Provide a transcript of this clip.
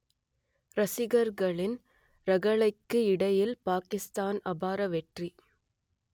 ரசிகர்களின் ரகளைக்கு இடையில் பாகிஸ்தான் அபார வெற்றி